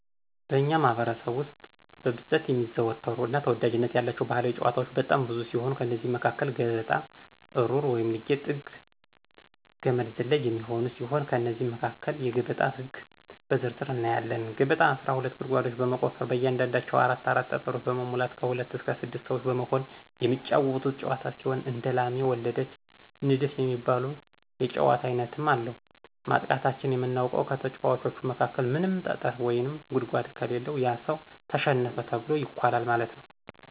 በእኛ ማህበረሰብ ውስጥ በብዛት የሚዘወተሩ እና ተወዳጅነት ያላቸው ባህላዊ ጫወታወች በጣም ብዙ ሲሆኑ ከእነዚህም መካከል ገበጣ፣ እሩር ልጊ(ጥንግ)፣ገመድ ዝላይ የሚገኙ ሲሆን ከእነዚህም መካከል የገበጣን ህግ በዝርዝር እናያለን። ገበጣ አስራ ሁለት ጉርጓዶችን በመቆፈር በእያንዳንዳቸው አራት አራት ጠጠሮችን በመሙላት ከሁለት እስከ ስድስት ሰወች በመሆን የሚጫወቱት ጫወታ ሲሆን እንደላሜ ወለደች፣ ንድፍ የሚባሉ የጫወታ አይነትም አለው፤ ማጥቃታችን የምናውቀው ከተጫዋቾቹ መካከል ምንም ጠጠር ወይም ጉርጓድ ከሌለው ያ ሰው ተሸነፈ ተብሎ ይኳላል ማለት ነው።